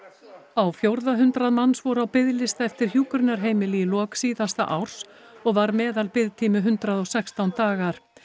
á fjórða hundrað manns voru á biðlista eftir hjúkrunarheimili í lok síðasta árs og var meðalbiðtími hundrað og sextán dagar